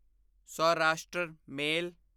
Saurashtra ਮੇਲ